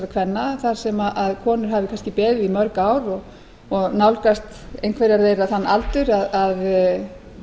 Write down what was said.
kvenna þar sem konur hafi kannski beðið í mörg ár og nálgast einhverjar þeirra þann aldur að